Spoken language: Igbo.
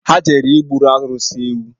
Ha jere igburu arụsị ha ewu